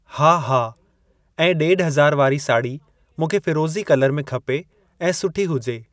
हा हा ऐं ॾेढ़ हज़ार वारी साड़ी मूंखे फिरोज़ी कलर में खपे ऐं सुठी हुजे।